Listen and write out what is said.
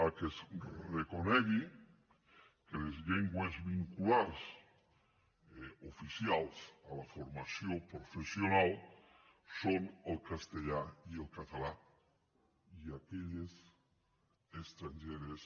perquè es reconegui que les llengües vehiculars oficials a la formació professional són els castellà i el català i aquelles estrangeres